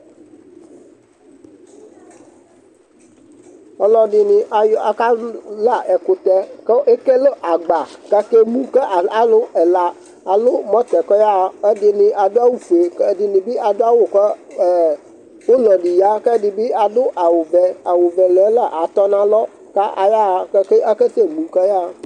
aluɛdɩnɩ ka lă ɛkutɛ, kʊ ekele agba, kʊ akemu kʊ alʊ ɛla, alʊ eti kʊ ayaɣa, ɛdɩnɩ adʊ awu fue, ɛdɩ adʊc awu ulɔ dɩ kʊ ɛdɩbɩ adʊ awu vɛ, awu vɛ ɔlʊ yɛ la tɔ nʊ alɔ kʊ akasɛ mu kʊ ayaɣa